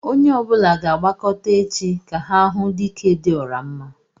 Onye ọbula ga-agbakọtá échi, ka ha hụ "Dike dị ọra mma"